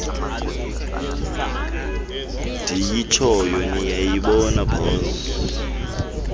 ndiyitshoyo niyayibona mosi